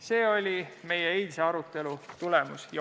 See oli meie eilse arutelu tulemus.